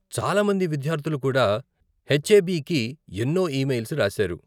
చాలా మంది విద్యార్ధులు కూడా హెచ్ఏబీకి ఎన్నో ఈమెయిల్స్ రాసారు.